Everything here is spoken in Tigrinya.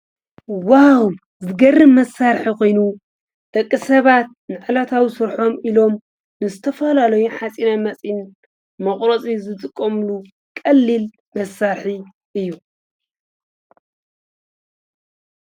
ዋው! ዝገርም መሳርሒ ኮይኑ ፤ ደቂ ሰባት ንዕለታዊ ስርሖም ኢሎም ንዝተፈላለዩ ሓፂነ መፂን መቁረፂ ዝጥቀሙሉ ቀሊል መሳርሒ እዩ፡፡